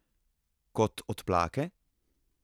Kot odplake?